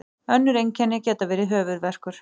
önnur einkenni geta verið höfuðverkur